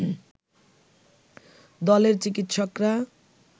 দলের চিকিৎসকরা